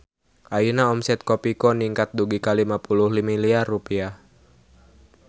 Ayeuna omset Kopiko ningkat dugi ka 50 miliar rupiah